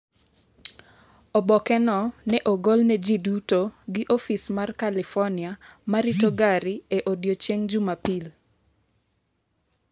Oboke no ne ogol ne ji duto gi Ofis mar California ma rito gari e odiechieng’ Jumapil.